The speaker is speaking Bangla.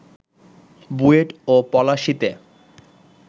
বুয়েট ও পলাশীতে